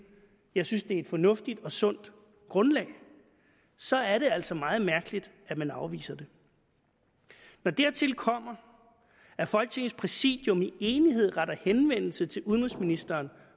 jeg synes et fornuftigt og sundt grundlag så er det altså meget mærkeligt at man afviser det når dertil kommer at folketingets præsidium i enighed retter henvendelse til udenrigsministeren